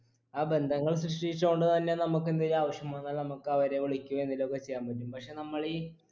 ആ ബന്ധങ്ങൾ സൃഷ്ടിച്ചോണ്ട് തന്നെ നമുക്കെന്തെങ്കി ആവശ്യം വന്നാൽ നമുക്ക് അവരെ വിളിക്കെയു എന്തേലു ഒക്കെ ചെയ്യാൻ പറ്റും പഷെ നമ്മളീ